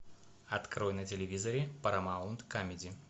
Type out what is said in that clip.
открой на телевизоре парамаунт камеди